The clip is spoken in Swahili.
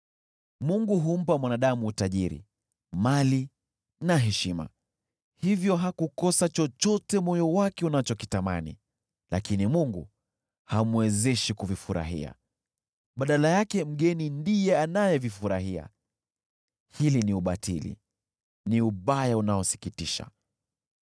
Mungu humpa mwanadamu utajiri, mali na heshima, hivyo hakukosa chochote moyo wake unachokitamani. Lakini Mungu hamwezeshi kuvifurahia, badala yake mgeni ndiye anayevifurahia. Hili ni ubatili, ni ubaya unaosikitisha.